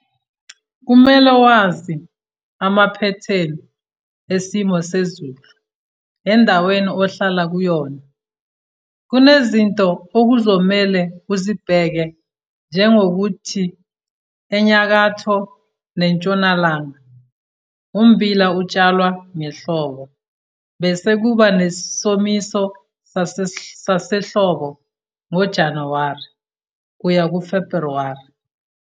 Kumele wazi amamphethini esimo sezulu endaweni ohlala kuyona. Kunezinto okuzomele uzibheke njengokuthi eNyakatho neNtshonalanga ummbila utshalwa ngehlobo, bese kuba nesomiso sasehlobo ngoJanuwari kuya kuFebhruwari.